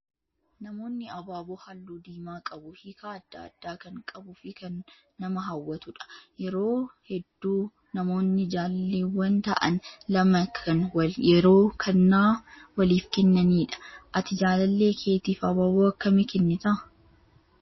Namoonni abaaboo halluu diimaa qabu hiika adda addaa kan qabuu fi kan nama hawwatudha. Yeroo hedduu namoonni jaalalleewwan ta'an lama kan yeroo kennaa waliif kennanidha. Ati jaalallee keetiif abaaboo akkamii kennitaa?